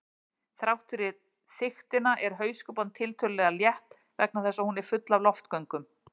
Þrátt fyrir þykktina er hauskúpan tiltölulega létt vegna þess að hún er full af loftgöngum.